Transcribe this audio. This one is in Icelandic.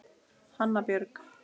Hanna Björg.